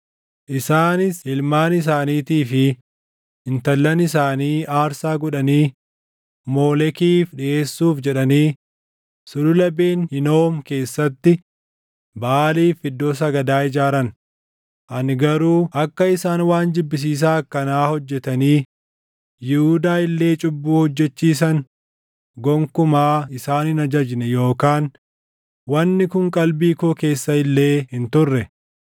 Isaanis ilmaan isaaniitii fi intallan isaanii aarsaa godhanii Moolekiif dhiʼeessuuf jedhanii Sulula Ben Hinoom keessatti Baʼaaliif iddoo sagadaa ijaaran; ani garuu akka isaan waan jibbisiisaa akkanaa hojjetanii Yihuudaa illee cubbuu hojjechiisan gonkumaa isaan hin ajajne yookaan wanni kun qalbii koo keessa illee hin turre.